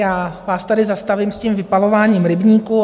Já vás tady zastavím s tím vypalováním rybníků.